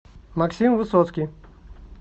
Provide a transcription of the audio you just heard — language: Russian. максим высоцкий